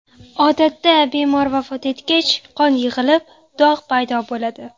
Odatda bemor vafot etgach, qon yig‘ilib dog‘ paydo bo‘ladi.